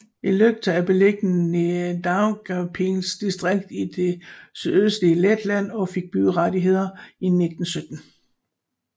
Ilūkste er beliggende i Daugavpils distrikt i det sydøstlige Letland og fik byrettigheder i 1917